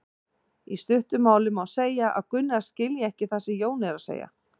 Í stuttu máli má segja að Gunna skilji ekki það sem Jón er að segja.